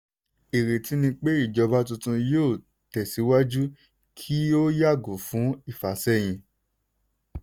ìrètí ni pé ìjọba tuntun yóò tẹ̀síwájú kí ó yàgò fún ìfàsẹ́yìn.